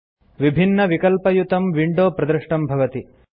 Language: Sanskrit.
विभिन्नविकल्पयुतं विंडो प्रदृष्टं भवति